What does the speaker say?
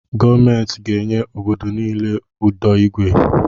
Gọọmenti ga enye obodo niile ụdọ igwe